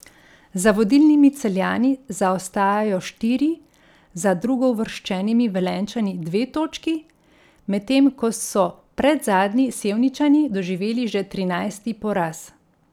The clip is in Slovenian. Za vodilnimi Celjani zaostajajo štiri, za drugouvrščenimi Velenjčani dve točki, medtem ko so predzadnji Sevničani doživeli že trinajsti poraz.